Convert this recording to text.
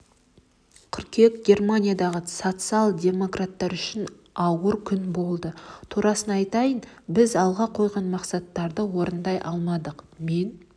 қыркүйек германиядағы социал-демократтар үшін ауыр күн болды турасын айтайын біз алға қойған мақсаттарды орындай алмадық мен